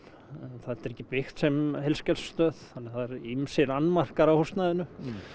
þetta er ekki byggt sem heilsugæslustöð þannig að það eru ýmsir annmarkar á húsnæðinu